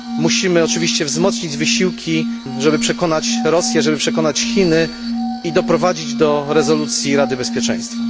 Musimy oczywiście wzmocnić wysiłki, żeby przekonać Rosję, żeby przekonać Chiny i doprowadzić do rezolucji Rady Bezpieczeństwa.